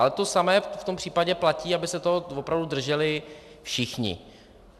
Ale to samé v tom případě platí, aby se toho opravdu drželi všichni.